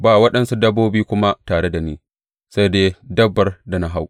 Ba waɗansu dabbobi kuma tare da ni, sai dai dabbar da na hau.